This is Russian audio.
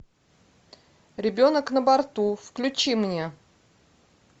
ребенок на борту включи мне